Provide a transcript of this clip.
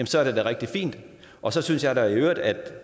så er det da rigtig fint og så synes jeg da i øvrigt at